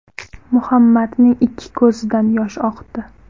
Muhammadning ikki ko‘zidan yosh oqdi.